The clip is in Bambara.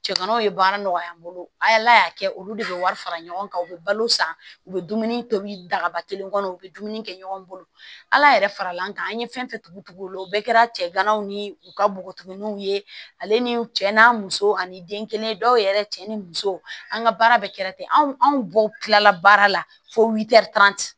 Cɛkannaw ye baara nɔgɔya an bolo ala y'a kɛ olu de bɛ wari fara ɲɔgɔn kan u bɛ balo san u bɛ dumuni tobi dagaba kelen kɔnɔ u bɛ dumuni kɛ ɲɔgɔn bolo ala yɛrɛ fara l'an kan an ye fɛn fɛn tugu o la o bɛɛ kɛra cɛganaw ni u ka buguni tuguni ale ni cɛ n'a muso ani den kelen dɔw yɛrɛ cɛ ni muso an ka baara bɛ kɛra ten anw anw bɔw kilala baara la fo